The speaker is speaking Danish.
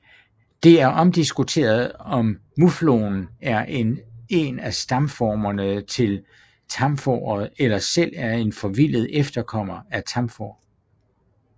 Det er omdiskuteret om muflonen er en af stamformerne til tamfåret eller selv er en forvildet efterkommer af tamfår